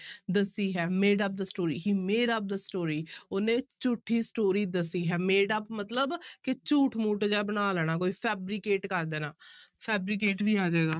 ਦੱਸੀ ਹੈ made up the story, he made up the story ਉਹਨੇ ਝੂਠੀ story ਦੱਸੀ ਹੈ made up ਮਤਲਬ ਕਿ ਝੂਠ ਮੂਠ ਜਿਹਾ ਬਣਾ ਲੈਣਾ ਕੋਈ fabricate ਕਰ ਦੇਣਾ fabricate ਵੀ ਆ ਜਾਏਗਾ।